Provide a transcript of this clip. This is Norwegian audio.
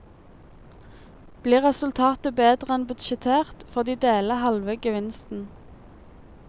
Blir resultatet bedre enn budsjettert, får de dele halve gevinsten.